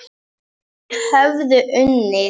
Þau höfðu unnið.